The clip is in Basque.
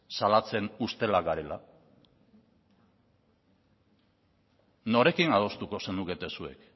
salatzen ustelak garela norekin adostuko zenukete zuek